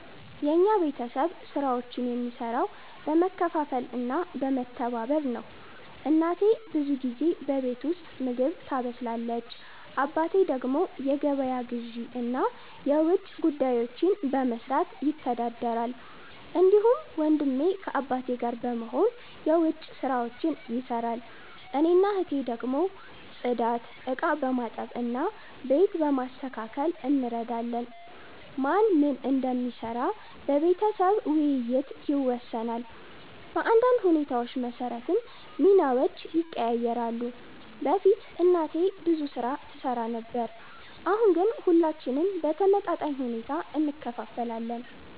የኛ ቤተሰብ ስራዎችን የሚሰራው በመካፈል እና በመተባበር ነው። እናቴ ብዙ ጊዜ በቤት ውስጥ ምግብ ታበስላለች። አባቴ ደግሞ የገበያ ግዢ እና የውጭ ጉዳዮችን በመስራት ይተዳደራል። እንዲሁም ወንድሜ ከአባቴ ጋር በመሆን የዉጭ ስራዎች ይሰራል። እኔና እህቴ ደግሞ ጽዳት፣ ዕቃ በማጠብ እና ቤት በማስተካከል እንረዳለን። ማን ምን እንደሚሰራ በቤተሰብ ውይይት ይወሰናል፣ በአንዳንድ ሁኔታዎች መሰረትም ሚናዎች ይቀያየራሉ። በፊት እናቴ ብዙ ስራ ትሰራ ነበር፣ አሁን ግን ሁላችንም በተመጣጣኝ ሁኔታ እንካፈላለን።